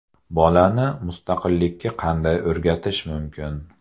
Bolani mustaqillikka qanday o‘rgatish mumkin?